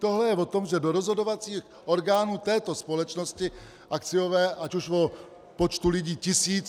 Tohle je o tom, že do rozhodovacích orgánů této společnosti akciové, ať už o počtu lidí tisíc...